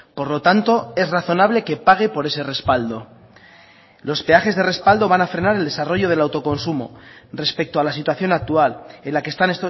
por lo tanto es razonable que pague por ese respaldo los peajes de respaldo van a frenar el desarrollo del autoconsumo respecto a la situación actual en la que están